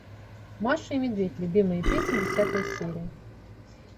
маша и медведь любимые песни десятая серия